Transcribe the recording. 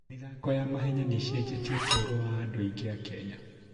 mĩthako ya mahenya nĩ ĩcenjetie ũtũũro wa andũ aingĩ a Kenya.